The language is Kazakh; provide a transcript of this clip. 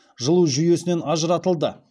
жылу жүйесінен ажыратылды